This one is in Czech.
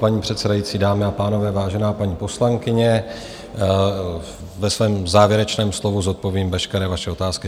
Paní předsedající, dámy a pánové, vážená paní poslankyně, ve svém závěrečném slovu zodpovím veškeré vaše otázky.